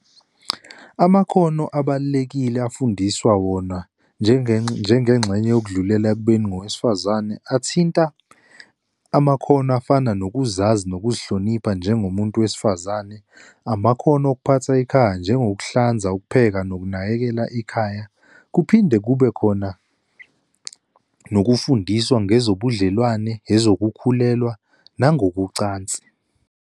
Amakhono abalulekile afundiswa wona, njengengxenye yokudlulela ekubeni ngowesifazane, athinta amakhono afana nokuzazi, nokuzihlonipha njengomuntu wesifazane, amakhono okuphatha ikhaya, njengokuhlanza, ukupheka, nokunakekela ikhaya. Kuphinde kube khona nokufundiswa ngezobudlelwane, ezokukhulekwa, nangokocansi.